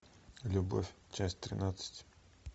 любовь часть тринадцать